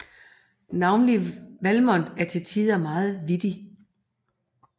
Og navnlig Valmont er til tider meget vittig